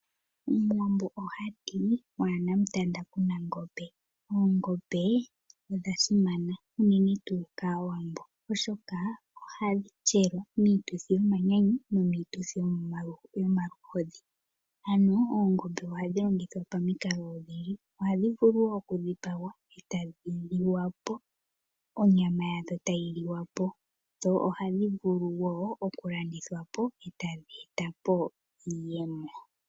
Omuwambo oha ti waana mutanda kuna ngombe, oongombe odha simana unene tuu kAawambo. Oshoka ohadhi tselwa miituthi yomanyanyu nomiituthi yomaluhodhi, ano oongombe ohadhi longithwa pamikalo odhindji. Ohadhi vulu wo okudhipagwa onyama yadho tayi liwa po. Dho ohadhi vulu wo okulandithwa po e tadhi etapo iiyemo.